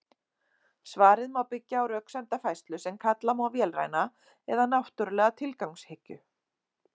Svarið má byggja á röksemdafærslu sem kalla má vélræna eða náttúrlega tilgangshyggju.